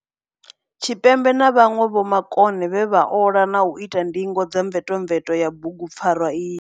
Tshipembe na vhanwe vhomakone vhe vha ola na u ita ndingo dza mvetomveto ya bugu pfarwa iyi.